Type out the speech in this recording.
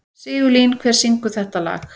Sigurlín, hver syngur þetta lag?